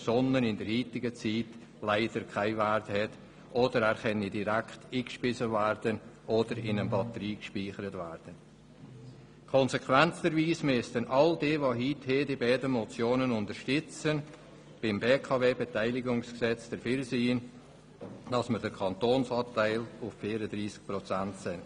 Konsequenterweise müssten all jene, die heute diese beiden Motionen unterstützen, bei der Beratung des BKWBeteiligungsgesetzes dafür stimmen, dass man den Kantonsanteil auf 34 Prozent senkt.